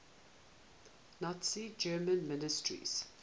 nazi germany ministers